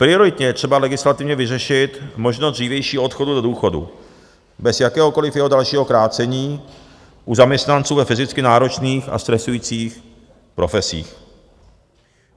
Prioritně je třeba legislativně vyřešit možnost dřívějšího odchodu do důchodu bez jakéhokoliv jeho dalšího krácení u zaměstnanců ve fyzicky náročných a stresujících profesích.